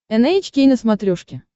эн эйч кей на смотрешке